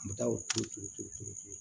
N bɛ taa o turu cogo di